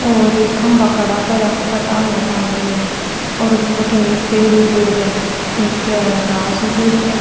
और एक खम्भा खड़ा कर इया के ऊपर चानिया तानेडी है और भटीने एक पेड़ उगेडो है नीचे घास उगेड़ी है --